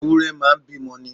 Ewúrẹ́ máa ń bímọ ni.